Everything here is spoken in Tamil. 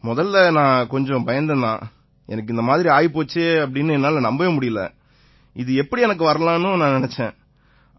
முதல்ல நான் கொஞ்சம் பயந்தேன் தான் எனக்கு இந்த மாதிரி ஆயிப் போச்சுன்னு என்னால நம்பவே முடியலை இது எப்படி எனக்கு வரலாம்னு தான் நினைச்சேன்